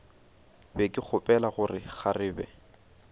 be ke gopola gore kgarebe